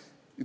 informatsiooni.